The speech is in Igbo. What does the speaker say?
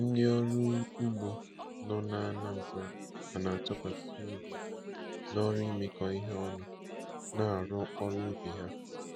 Ndị ọrụ ugbo nọ n'Anambra ka na-atụkwasị obi n'ọrụ imekọ ihe ọnụ na-arụ ọrụ ubi ha.